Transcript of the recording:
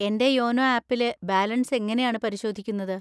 എന്‍റെ യോനോ ആപ്പിലെ ബാലൻസ് എങ്ങനെയാണ് പരിശോധിക്കുന്നത്?